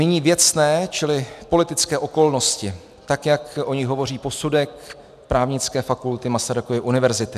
Nyní věcné, čili politické okolnosti, tak jak o nich hovoří posudek Právnické fakulty Masarykovy univerzity.